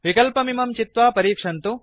विक्लपमिमं चित्वा परीक्षन्तु